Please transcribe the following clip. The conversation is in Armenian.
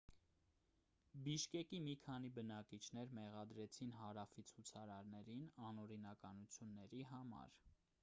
բիշկեկի մի քանի բնակիչներ մեղադրեցին հարավի ցուցարարներին անօրինականությունների համար